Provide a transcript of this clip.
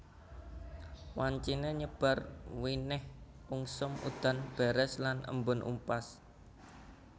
Wanciné nyebar winih ungsum udan deres lan embun upas